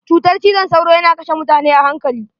Cytar cizon sauro yana kashe mutane a hankali.